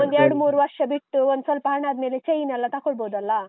ಒಂದ್ ಎರಡ್ಮೂರು ವರ್ಷ ಬಿಟ್ಟು, ಒಂದ್ ಸ್ವಲ್ಪ ಹಣ ಆದ್ಮೇಲೆ chain ಎಲ್ಲಾ ತಕೊಳ್ಬೊದಲ್ಲಾ?